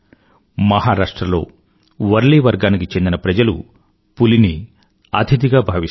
మహారాష్ట్ర లో వర్లీ వర్గానికి చెందిన ప్రజలు పులిని అతిధిగా భావిస్తారు